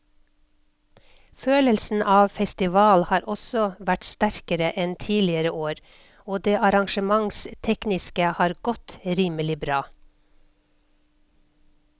Følelsen av festival har også vært sterkere enn tidligere år og det arrangementstekniske har godt rimelig bra.